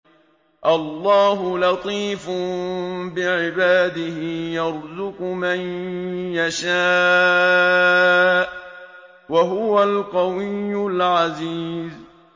اللَّهُ لَطِيفٌ بِعِبَادِهِ يَرْزُقُ مَن يَشَاءُ ۖ وَهُوَ الْقَوِيُّ الْعَزِيزُ